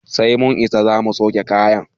Sai mun isa zamu sauke kayan